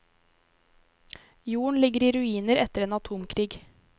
Jorden ligger i ruiner etter en atomkrig.